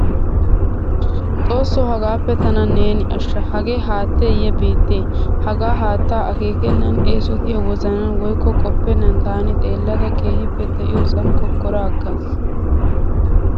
Xoosso hagaappe tana neeni ashsha hagee haatteeye biitte. Hagaa haattaa akeekennan eesotiya wozanan woykko qoppennan taani xeellada keehippe de'iyosan kokkora aggaas.